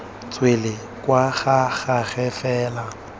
tswele kwa ga gagwe fela